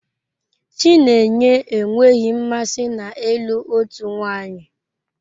Chinenye enweghị mmasị na ịlụ otu nwanyị.